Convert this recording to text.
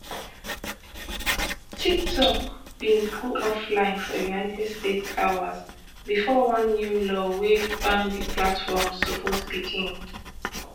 tiktok bin go offline for united states hours bifor one new law wey ban di platform suppose begin